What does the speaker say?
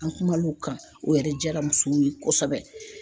An kuma n'o kan o yɛrɛ jaara musow ye kosɛbɛ.